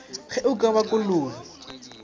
ge o ka ba kolobe